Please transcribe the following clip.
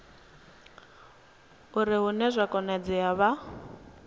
uri hune zwa konadzea vha